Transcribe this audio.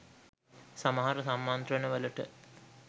සමහර සම්මන්ත්‍රණ වලට